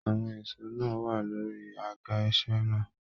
Àwọn èsó náà wà lórí àga iṣẹ náà.